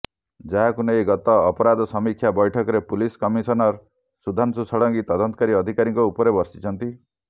ଯାହାକୁ ନେଇ ଗତ ଅପରାଧ ସମୀକ୍ଷା ବୈଠକରେ ପୁଲିସ କମିସନର ସୁଧାଂଶୁ ଷଡ଼ଙ୍ଗୀ ତଦନ୍ତକାରୀ ଅଧିକାରୀଙ୍କ ଉପରେ ବର୍ଷିଛନ୍ତି